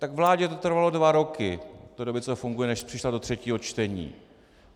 Tak vládě to trvalo dva roky od té doby, co tu funguje, než přišla do třetího čtení.